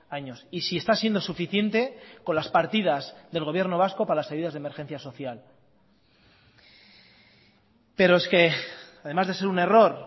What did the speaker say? años y si está siendo suficiente con las partidas del gobierno vasco para las ayudas de emergencia social pero es que además de ser un error